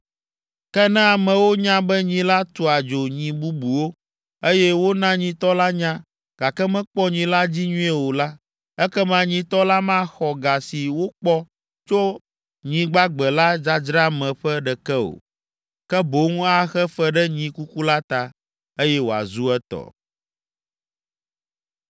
Ke ne amewo nya be nyi la tua dzo nyi bubuwo, eye wona nyitɔ la nya, gake mekpɔ nyi la dzi nyuie o la, ekema nyitɔ la maxɔ ga si wokpɔ tso nyi gbagbe la dzadzra me ƒe ɖeke o, ke boŋ axe fe ɖe nyi kuku la ta, eye wòazu etɔ.”